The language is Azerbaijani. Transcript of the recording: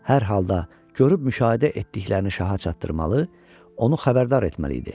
Hər halda, görüb müşahidə etdiklərini şaha çatdırmalı, onu xəbərdar etməli idi.